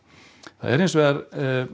það er hins vegar